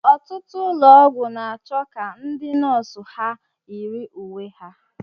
Ọtụtụ ụlọ ọgwụ na-achọ ka ndị nọọsụ ha yiri uwe ha